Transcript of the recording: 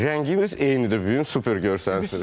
Rəngimiz eynidir, bu gün super görsənsiniz.